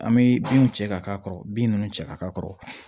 An bɛ binw cɛ ka k'a kɔrɔ bin ninnu cɛ ka k'a kɔrɔ